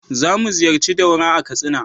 Za mu ziyarci Daura a Katsina.